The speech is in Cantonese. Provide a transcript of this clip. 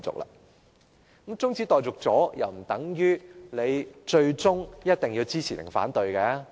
那麼，在中止待續後，亦不等於我們最終一定要支持或反對。